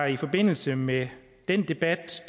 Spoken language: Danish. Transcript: i forbindelse med den debat